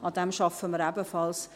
Daran arbeiten wir ebenfalls.